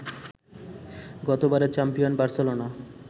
গতবারের champion Barcelona